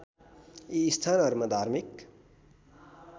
यी स्थानहरू धार्मिक